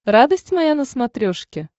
радость моя на смотрешке